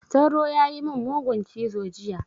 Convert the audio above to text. Sauro ya yi min mugun cizo jiya.